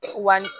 Wali